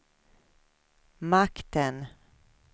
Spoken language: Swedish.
makten